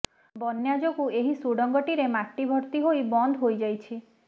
ବନ୍ୟା ଯୋଗୁ ଏହି ସୁଡ଼ଙ୍ଗଟିରେ ମାଟି ଭର୍ତ୍ତି ହୋଇ ବନ୍ଦ ହୋଇଯାଇଛି